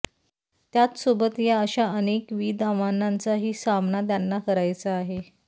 त्याचसोबत या अशा अनेकविध आव्हानांचाही सामना त्यांना करायचा आहे